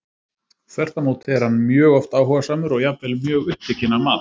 Þvert á móti er hann mjög oft áhugasamur og jafnvel mjög upptekinn af mat.